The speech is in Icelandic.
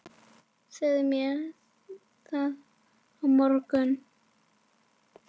Segðu mér það að morgni.